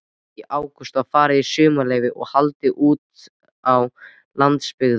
Í ágúst var farið í sumarleyfi og haldið útá landsbyggðina.